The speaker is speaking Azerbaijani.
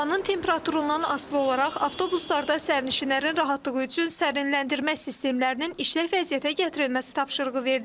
Havanın temperaturundan asılı olaraq avtobuslarda sərnişinlərin rahatlığı üçün sərinləndirmə sistemlərinin işlək vəziyyətə gətirilməsi tapşırığı verilib.